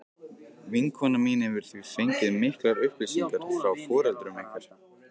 Vinkona mín hefur því fengið miklar upplýsingar frá foreldrum ykkar.